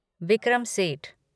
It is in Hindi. विक्रम सेठ